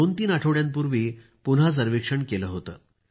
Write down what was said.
दोनतीन आठवड्यांपूर्वी पुन्हा सर्वेक्षण केले होते